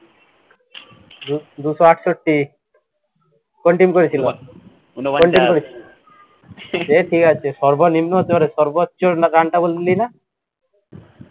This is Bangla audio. দু ~ দুইশো আটষট্টি কোন team করেছিল, কোন team করেছিল, এহ ঠিকআছে, সর্বনিম্ন হতে পারে, সর্বোচ্চ run টা বললিনা